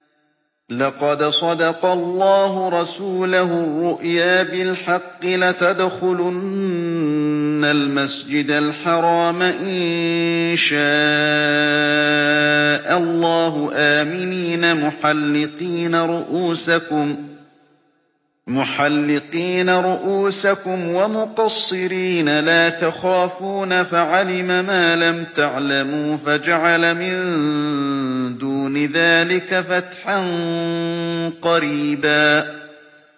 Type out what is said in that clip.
لَّقَدْ صَدَقَ اللَّهُ رَسُولَهُ الرُّؤْيَا بِالْحَقِّ ۖ لَتَدْخُلُنَّ الْمَسْجِدَ الْحَرَامَ إِن شَاءَ اللَّهُ آمِنِينَ مُحَلِّقِينَ رُءُوسَكُمْ وَمُقَصِّرِينَ لَا تَخَافُونَ ۖ فَعَلِمَ مَا لَمْ تَعْلَمُوا فَجَعَلَ مِن دُونِ ذَٰلِكَ فَتْحًا قَرِيبًا